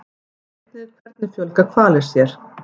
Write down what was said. Sjá einnig Hvernig fjölga hvalir sér?